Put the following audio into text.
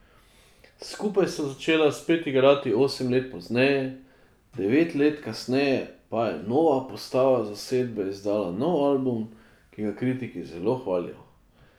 Skupaj sta začela spet igrati osem let pozneje, devet let kasneje pa je nova postava zasedbe izdala nov album, ki ga kritiki zelo hvalijo.